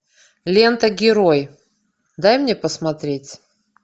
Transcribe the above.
лента герой дай мне посмотреть